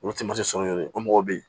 Olu tɛ malisɔn yɛrɛ o mɔgɔw bɛ yen